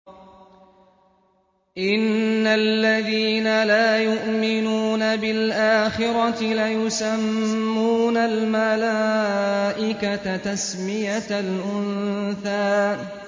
إِنَّ الَّذِينَ لَا يُؤْمِنُونَ بِالْآخِرَةِ لَيُسَمُّونَ الْمَلَائِكَةَ تَسْمِيَةَ الْأُنثَىٰ